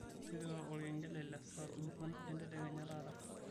tipika olkengele le saa ong'uan entedekenya taata